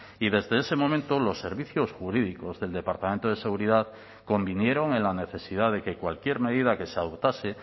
y desde ese momento los servicios jurídicos del departamento de seguridad convinieron en la necesidad de que cualquier medida que se adoptase